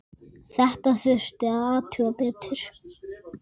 Þetta þurfti að athuga betur.